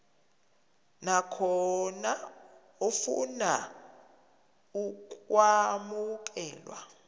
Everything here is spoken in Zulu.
nakhona ofuna ukwamukelwa